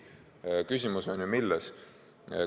Küsimus on ju milles?